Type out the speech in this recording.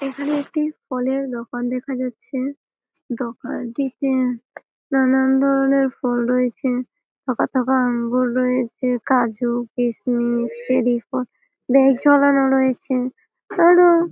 এখানে একটি ফলের দোকান দেখা যাচ্ছে দোকানটিতে নানান ধরণের ফল রয়েছে থোকা থোকা আঙ্গুর রয়েছে কাজু কিসমিস চেরিফল ব্যাগ ঝোলানো রয়েছে আরো--